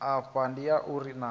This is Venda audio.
afha ndi ya uri naa